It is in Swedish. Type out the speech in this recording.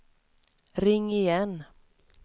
ring igen